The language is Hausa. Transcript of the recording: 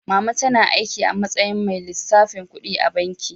Mama tana aiki a matsayin mai lissafin kuɗi a banki.